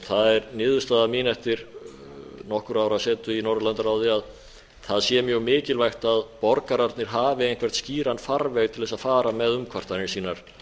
það er niðurstaða mín eftir nokkurra ára setu í norðurlandaráði að það sé mjög mikilvægt að borgararnir hafi einhvern skýran farveg til þess að fara með umkvartanir sínar